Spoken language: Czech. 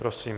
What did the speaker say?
Prosím.